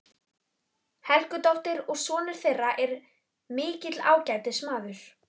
Helgadóttur, og sonur þeirra er mikill ágætismaður.